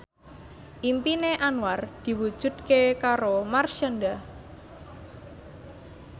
impine Anwar diwujudke karo Marshanda